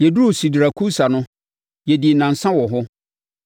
Yɛduruu Sidarakusa no, yɛdii nnansa wɔ hɔ.